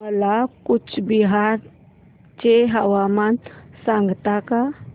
मला कूचबिहार चे हवामान सांगता का